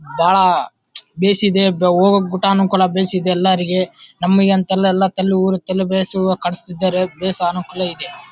ಬಾಹ್ ಬಿಸಿದೆ ಓಗಕ್ಕೂ ಗುಟಾನುಕುಲ ಬೀಸಿದೆ ಎಲ್ಲರಿಗೆ ನಮ್ಮಗಂತಲ್ಲಾಎಲ್ಲಾ ಕಲ್ಲೂರ್ ಕಾಣಸ್ತಿದ್ದರೆ ಬೇಸ್ ಅನುಕೂಲ ಇದೆ.